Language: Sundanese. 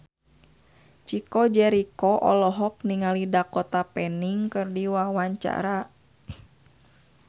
Chico Jericho olohok ningali Dakota Fanning keur diwawancara